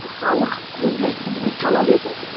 халық өзгерісті бүгін талап етіп отыр